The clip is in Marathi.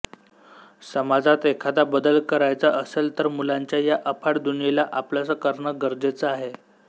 समाजात एखादा बदल करायचा असेल तर मुलांच्या या अफाट दुनियेला आपलंस करणं गरजेचं आहे